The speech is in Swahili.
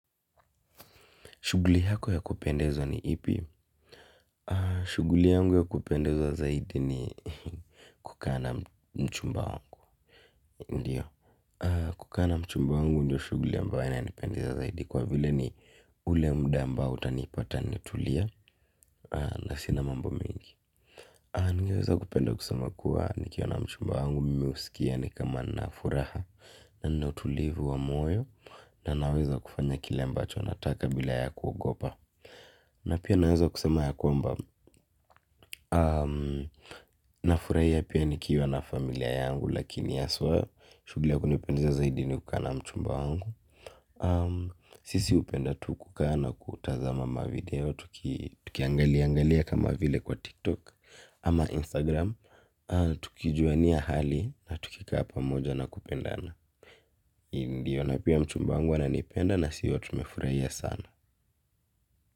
Shughuli yako ya kupendeza ni ipi. Shughuli yangu ya kupendeza zaidi ni kukaa na mchumba wangu. Ndiyo. Kukaa na mchumba wangu ndio shughuli ambayo ina nipendeza zaidi kwa vile ni ule muda ambao utanipata nimetulia na sina mambo mingi. Ningeweza kupenda kusema kua nikiwa na mchumba wangu mimi husikia ni kama nina furaha na nina utulivu wa moyo na naweza kufanya kile ambacho nataka bila ya kugopa. Na pia naweza kusema ya kwamba na furahia pia nikiwa na familia yangu lakini haswa shuguli ya kunipendeza zaidi ni kukaa na mchumba wangu. Sisi hupenda tu kuaa na kutazama mavideo tuki tukiangalia angalia kama vile kwa tiktok ama instagram. Tukijuania hali na tukikaa pamoja na kupendana ndio na pia mchumba wangu ananipenda na si huwa tumefurahia sana.